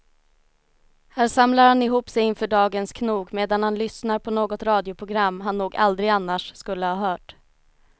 Här samlar han ihop sig inför dagens knog medan han lyssnar på något radioprogram han nog aldrig annars skulle ha hört.